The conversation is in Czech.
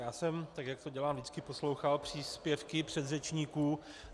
Já jsem, tak jak to dělám vždycky, poslouchal příspěvky předřečníků.